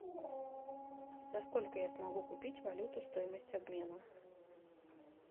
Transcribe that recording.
за сколько я смогу купить валюту стоимость обмена